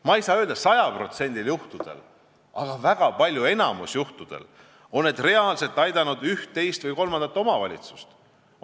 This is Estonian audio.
Ma ei saa öelda, et sajal protsendil juhtudest, aga väga paljudel, enamikul juhtudel on need reaalselt aidanud üht, teist või kolmandat omavalitsust.